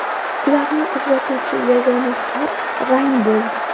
Ularni ajratuvchi yagona farq rang bo‘ldi.